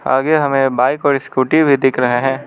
आगे हमें बाइक और स्कूटी भी दिख रहा है।